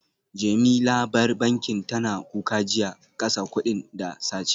Jemi labar bankin tana kuka jiya, kasa kudin da sace